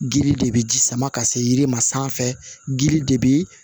Gili de bɛ ji sama ka se yiri ma sanfɛ dili de bɛ